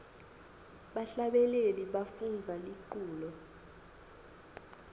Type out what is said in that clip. bahlabeleli bafundza liculo